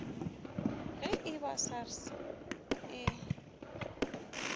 ge e ba sars e